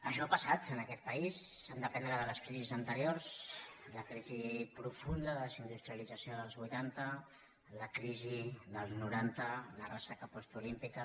això ha passat en aquest país s’ha d’aprendre de les crisis anteriors la crisi profunda de desindustrialització dels vuitanta la crisi dels noranta la ressaca postolímpica